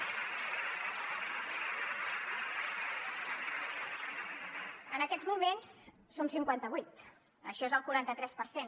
en aquests moments som cinquanta vuit això és el quaranta tres per cent